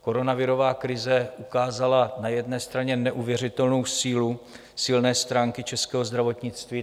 Koronavirová krize ukázala na jedné straně neuvěřitelnou sílu, silné stránky českého zdravotnictví.